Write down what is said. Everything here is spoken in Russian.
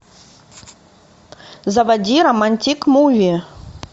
заводи романтик муви